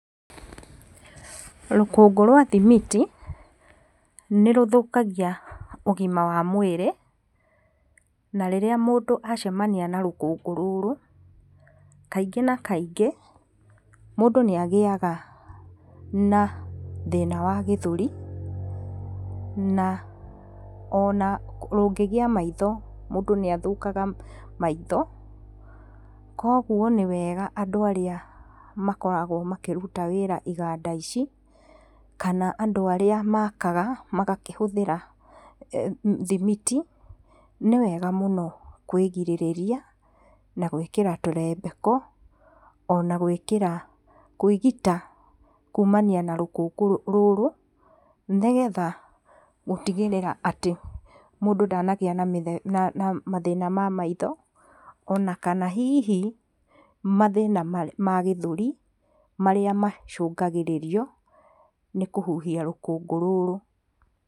Rũkũngũ rwa thimiti, nĩ rũthakagia ũgima wa mwĩrĩ, na rĩrĩa mũndũ acemania na rũkũngũ rũrũ, kaingĩ na kaingĩ, mũndũ nĩ agĩaga na thĩna wa gĩthũri, na ona rũngĩgia maitho mũndũ nĩathũkaga maitho, koguo nĩ wega andũ arĩa makoragwo makĩruta wĩra iganda ici, kana andũ arĩa makaga, magakĩhũthĩra thimiti, nĩ wega mũno kwĩgirĩrĩria na gwĩkĩra tũrembeko, ona gwĩkĩra kwĩgita kumania na rũkũngũ rũrũ, nĩgetha gũtigĩrĩra atĩ mũndũ ndanagĩa na mĩthe na mathĩna ma maitho, ona kana hihi mathĩna ma gathũri, marĩa macungagĩrĩrio, nĩ kũhuhia rũkũngũ rũrũ.